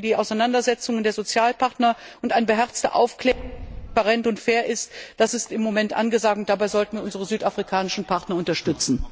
die Auseinandersetzungen der Sozialpartner und eine beherzte Aufklärung, die transparent und fair ist, das ist im Moment angesagt, und dabei sollten wir unsere südafrikanischen Partner unterstützen.